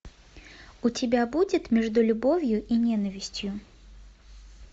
у тебя будет между любовью и ненавистью